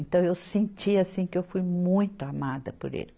Então, eu senti, assim, que eu fui muito amada por ele.